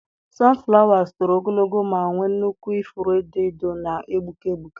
sunflowers toro ogologo ma nwee nnukwu ifuru edo edo na-egbuke egbuke.